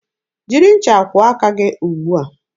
Jiri ncha kwụọ aka gị ugbua!